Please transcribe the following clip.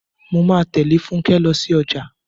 Mo máa tẹ̀lé Fúnkẹ́ lọ sí ọjà.